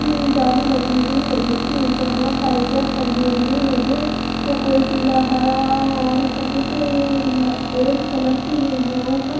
की जाली लगी हुई है जिसके उपर बहुत सारे जग टंगे हुए है जो वो कोई पिला हरा और सफेद और ओरेज कलर है उपर--